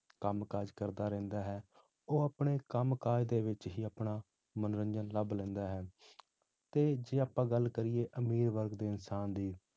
ਕੰਮ ਕਾਜ ਕਰਦਾ ਰਹਿੰਦਾ ਹੈ, ਉਹ ਆਪਣੇ ਕੰਮ ਕਾਜ ਦੇ ਵਿੱਚ ਹੀ ਆਪਣਾ ਮਨੋਰੰਜਨ ਲੱਭ ਲੈਂਦਾ ਹੈ ਤੇ ਜੇ ਆਪਾਂ ਗੱਲ ਕਰੀਏ ਅਮੀਰ ਵਰਗ ਦੇ ਇਨਸਾਨ ਦੀ